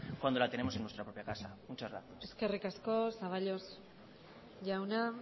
cuando la tenemos en nuestra propia casa muchas gracias eskerrik asko zaballos jauna